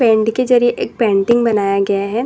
Pant के जरिए एक पेंटिंग बनाया गया है।